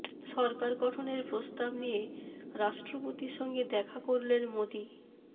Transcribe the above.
সরকার গঠনের প্রস্তাব নিয়ে রাষ্ট্রপতির সঙ্গে দেখা করলেন মোদি